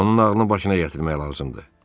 Onun ağlını başına gətirmək lazımdır.